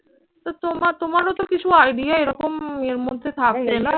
তো তোমার তোমারও তো কিছু idea এরকম ইয়ের মধ্যে থাকে না